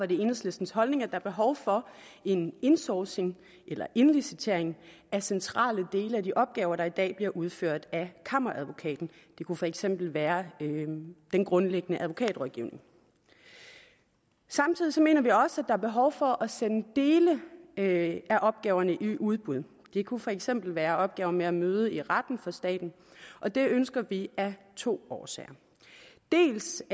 det enhedslistens holdning at der er behov for en insourcing eller indlicitering af centrale dele af de opgaver der i dag bliver udført af kammeradvokaten det kunne for eksempel være den grundlæggende advokatrådgivning samtidig mener vi også at er behov for at sende dele af opgaverne i udbud det kunne for eksempel være opgaver med at møde i retten for staten og det ønsker vi af to årsager dels